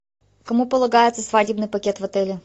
кому полагается свадебный пакет в отеле